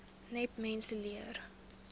net mense leer